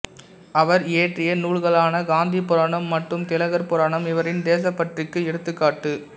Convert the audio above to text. அவர் இயற்றிய நூல்களான காந்திபுராணம் மற்றும் திலகர் புராணம் இவரின் தேசபற்றிற்கு எடுத்துக்காட்டு